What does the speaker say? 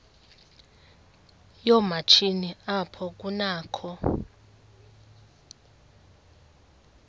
yoomatshini apho kunakho